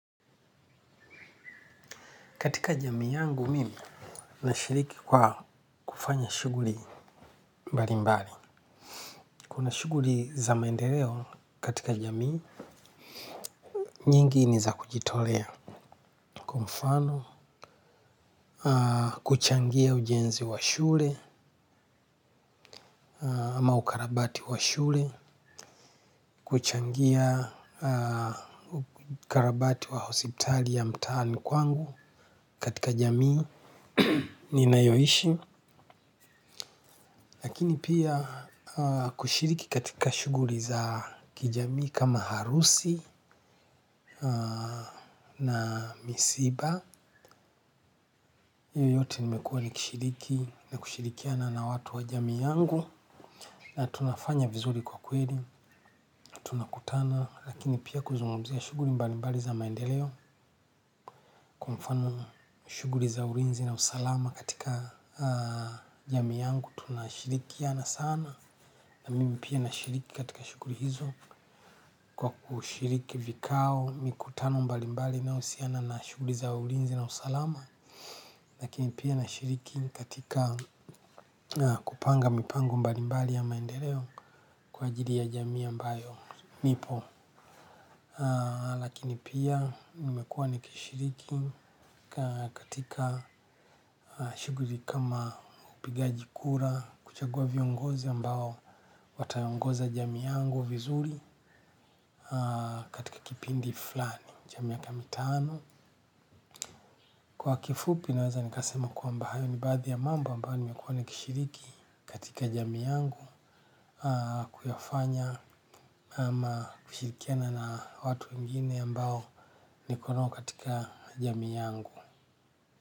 Katika jamii yangu mimi, nashiriki kwa kufanya shuguli mbali mbali. Kuna shuguri za maendeleo katika jamii, nyingi ni za kujitolea. Kwa mfano, kuchangia ujenzi wa shule, ama ukarabati wa shule, kuchangia ukarabati wa hositali ya mtaani kwangu katika jamii, ni nayoishi lakini pia kushiriki katika shuguli za kijami kama harusi na misiba. Iyo yote nimekuwa ni kushiriki na kushirikiana na watu wa jamii yangu. Na tunafanya vizuri kwa kweli, tunakutana lakini pia kuzungumuza shuguri mbali mbali za maendeleo. Kufano shuguri za urinzi na usalama katika jamii yangu tunashirikiana sana. Na mimi pia na shiriki katika shuguri hizo kwa kushiriki vikao, mikutano mbalimbali na usiana na shuguri za ulinzi na usalama. Lakini pia na shiriki katika kupanga mipango mbalimbali ya maendereo kwa jiri ya jamii ambayo nipo. Lakini pia nimekua nikishiriki katika shuguri kama upigaji kura kuchagua viongozi ambao watayongoza jamii yangu vizuri katika kipindi fulani cha miaka mitano kwa kifupi naezasema kwamba hayo ni baazi ya mambo ambayo nimekuwa nikishiriki katika jamii yangu kuyafanya ama kishirikiana na watu wengine ambao niko nao katika jami yangu.